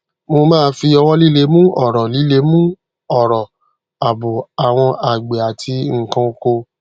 mo máa fi ọwọ líle mu ọrọ líle mu ọrọ àbò àwọn àgbẹ àti nnkan oko